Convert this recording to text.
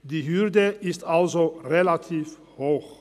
Die Hürde ist also relativ hoch.